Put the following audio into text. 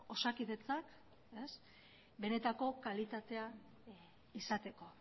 osakidetza benetako kalitatea izateko